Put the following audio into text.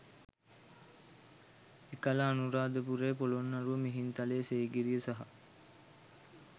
එකල අනුරාධපුරය, පොළොන්නරුව, මිහින්තලය, සීගිරිය සහ